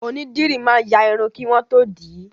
Onídìrí máa ń ya Irun kí wọ́n tó dì í